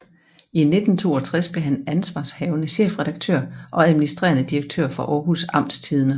I 1962 blev han ansvarshavende chefredaktør og administrerende direktør for Aarhus Amtstidende